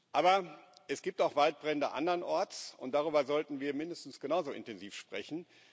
Aber Es gibt auch Waldbrände andernorts, und darüber sollten wir mindestens genauso intensiv sprechen.